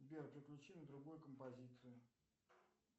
сбер переключи на другую композицию